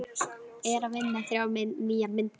Er að vinna þrjár nýjar myndir.